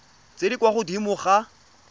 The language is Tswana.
tse di kwa godimo ga